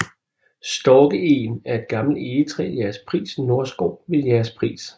Storkeegen er et gammelt egetræ i Jægerspris Nordskov ved Jægerspris